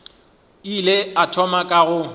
ile a thoma ka go